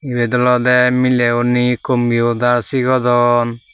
ibet olodey mileguney commiudar sigodon.